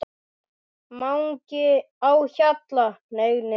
MANGI Á HJALLA, hneig niður.